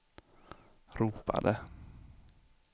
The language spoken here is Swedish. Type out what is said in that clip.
ropade